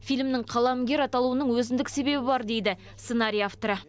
фильмнің қаламгер аталуының өзіндік себебі бар дейді сценарий авторы